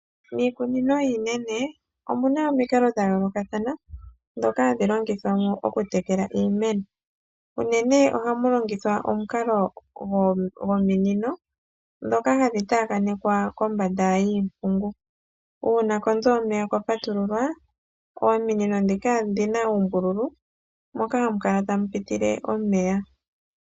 Miikunino iinene omuna omikalo dhayoolokathana dhoka hadhi longithwa mo okutekela iimeno, unene ohamu longithwa omikalo dhominino dhoka hadhi taakanekwa kombanda yiipungu, uuna konzo yomeya kwapatululwa ominino dhika odhina uumbululu moka hamu kala tamu pitile omeya.